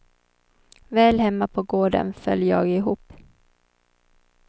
Väl hemma på gården föll jag ihop.